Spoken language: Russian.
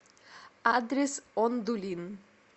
адрес ондулин